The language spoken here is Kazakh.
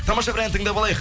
тамаша бір ән тыңдап алайық